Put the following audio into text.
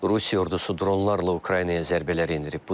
Rusiya ordusu dronlarla Ukraynaya zərbələr endirib.